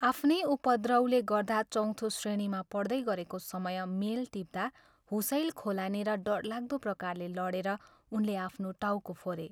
आफ्नै उपद्रवले गर्दा चौथो श्रेणीमा पढ्दै गरेको समय मेल टिप्दा हुसैल खोलानेर डरलाग्दो प्रकारले लडेर उनले आफ्नो टाउको फोरे।